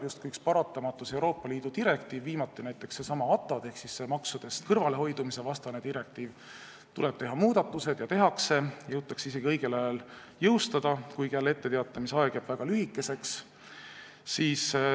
Justkui paratamatus tuleb üks Euroopa Liidu direktiiv, viimati näiteks seesama ATAD ehk maksudest kõrvalehoidmise vastane direktiiv, siis tuleb teha muudatused ja need tehaksegi ning jõutakse need isegi õigel ajal jõustada, kuigi etteteatamisaeg jäi jälle väga lühikeseks.